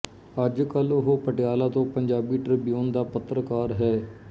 ਅੱਜ ਕੱਲ ਉਹ ਪਟਿਆਲਾ ਤੋਂ ਪੰਜਾਬੀ ਟ੍ਰਿਬਿਊਨ ਦਾ ਪੱਤਰਕਾਰ ਹੈ